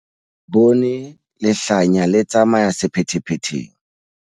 Re bone lehlanya le tsamaya sephethephetheng.